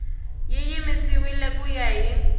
yi yimisiwile ku ya hi